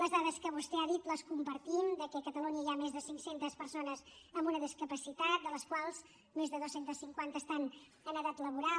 les dades que vostè ha dit les compartim de que a catalunya hi ha més de cinc centes persones amb una discapacitat de les quals més de dos cents i cinquanta estan en edat laboral